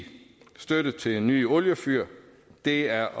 støtte til nye oliefyr det er